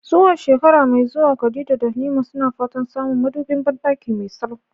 Zuwa shekara mai zuwa, Khadija da Halima suna fatan samun madubin bandaki mai salo.